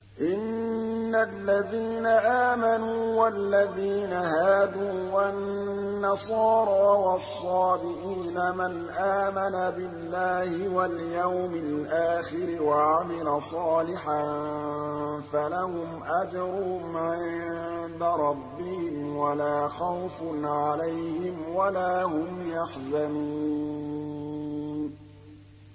إِنَّ الَّذِينَ آمَنُوا وَالَّذِينَ هَادُوا وَالنَّصَارَىٰ وَالصَّابِئِينَ مَنْ آمَنَ بِاللَّهِ وَالْيَوْمِ الْآخِرِ وَعَمِلَ صَالِحًا فَلَهُمْ أَجْرُهُمْ عِندَ رَبِّهِمْ وَلَا خَوْفٌ عَلَيْهِمْ وَلَا هُمْ يَحْزَنُونَ